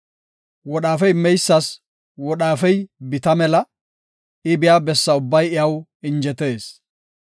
Wodhaafe immeysas wodhaafey bita mela; I biya bessa ubbay iyaw injetees.